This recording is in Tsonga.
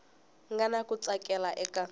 nga na ku tsakela eka